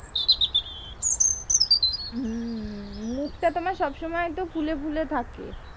হম মুখটা তোমার সব সময় এতো ফুলে ফুলে থাকে।